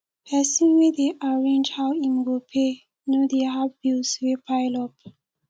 pesin wey dey arrange how im go pay no dey have bills wey pile up